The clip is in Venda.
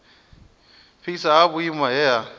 fhasi ha vhuimo he ha